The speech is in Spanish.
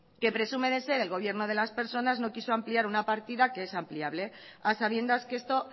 que presume de ser el gobierno de las personas no quiso ampliar una partida que es ampliable a sabiendas que esto